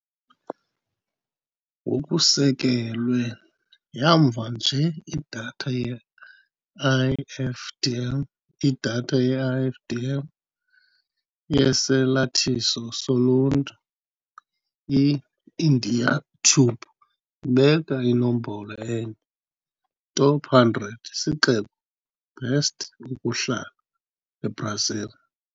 Ngokusekelwe yamva nje Idatha ye-IFDM Idatha ye-IFDM yesalathiso soluntu, i-Indaiatuba ibeka inombolo enye "Top 100 isixeko best ukuhlala, eBrazil".